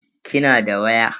Kina da waya?